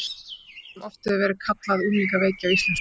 Ástand sem oft hefur verið kallað unglingaveiki á íslensku.